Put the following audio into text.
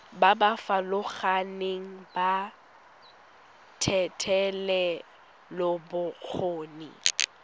ba ba farologaneng ba thetelelobokgoni